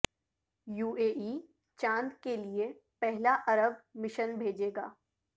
you A E چاندکیلئے پہلا عرب مشن بھیجے گا